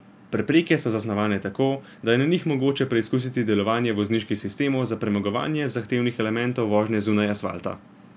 Prepreke so zasnovane tako, da je na njih mogoče preizkusiti delovanje vozniških sistemov za premagovanje zahtevnih elementov vožnje zunaj asfalta.